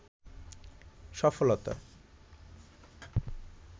সফলতা